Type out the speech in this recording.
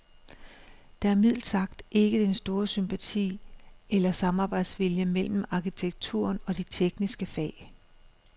Der er mildt sagt ikke den store sympati eller samarbejdsvilje mellem arkitekturen og de tekniske fag.